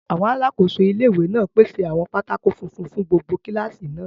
Àwọn alákòóso ilé-ìwé náà pèsè àwọn pátákó funfun fún gbogbo kílásì náà